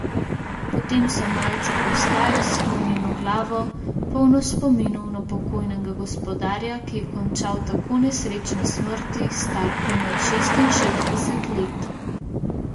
Potem so malce postali s sklonjeno glavo, polno spominov na pokojnega gospodarja, ki je končal tako nesrečne smrti, star komaj šestinšestdeset let.